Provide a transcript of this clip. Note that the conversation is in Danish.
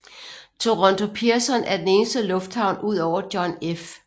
Toronto Pearson er den eneste lufthavn udover John F